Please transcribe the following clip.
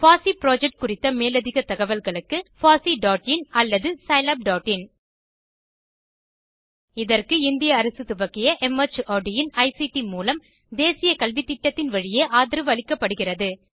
பாசி புரொஜெக்ட் குறித்த மேலதிக தகவல்களுக்கு httpfosseein அல்லது httpscilabin இதற்கு இந்திய அரசு துவக்கிய மார்ட் இன் ஐசிடி மூலம் தேசிய கல்வித்திட்டத்தின் வழியே ஆதரவு அளிக்கப்படுகிறது